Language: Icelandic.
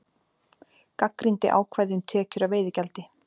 Gagnrýndi ákvæði um tekjur af veiðigjaldi